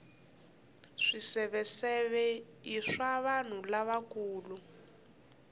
swiseveseve i swa vanhu lavakulu